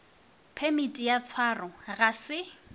phemiti ya tshwaro ga se